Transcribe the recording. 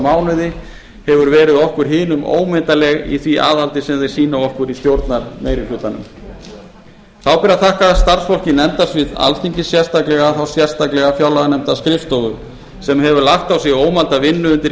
mánuði hefur verið okkur hinum ómetanleg í því aðhaldi sem þeir sýna okkur í stjórnarmeirihlutanum þá ber að þakka starfsfólki nefndasviðs alþingis sérstaklega þá sérstaklega fjárlaganefndarskrifstofu sem hefur lagt á sig ómælda vinnu undir